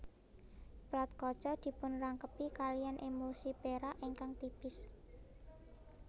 Plat kaca dipunrangkepi kaliyan emulsi perak ingkang tipis